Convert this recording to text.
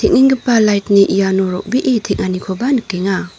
light-ni iano ro·bee teng·anikoba nikenga.